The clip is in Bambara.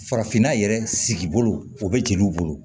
Farafinna yɛrɛ sigi bolo o bɛ jeliw bolo